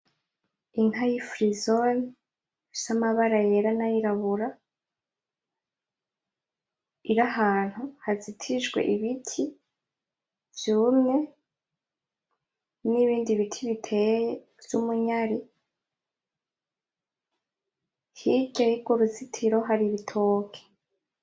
Inka y'ifirizoni ifise amabara yera nayirabura, irahantu hazitijwe ibiti vyumye n'ibindi biti biteye vy'umunyari. Hirya y'urwo ruzitiro hari ibitoke.